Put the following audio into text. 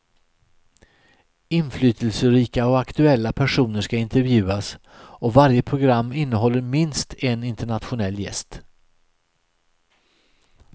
Inflytelserika och aktuella personer ska intervjuas och varje program innehåller minst en internationell gäst.